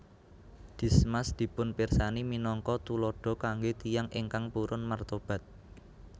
Dismas dipunpirsani minangka tuladha kanggé tiyang ingkang purun martobat